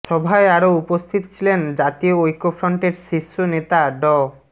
সভায় আরও উপস্থিত ছিলেন জাতীয় ঐক্যফ্রন্টের শীর্ষ নেতা ড